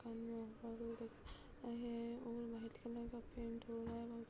है और white colour का पेंट हो रहा है बोह --